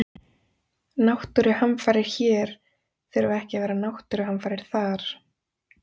Náttúruhamfarir hér þurfa ekki að vera náttúruhamfarir þar.